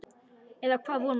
Eða það vona ég,